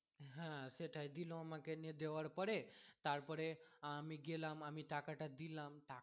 হ্যাঁ সেটাই দিল আমাকে দিয়ে দেওয়ার পরে তারপরে আমি গেলাম আমি টাকা টা দিলাম